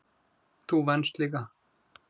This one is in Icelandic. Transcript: Þú venst líka.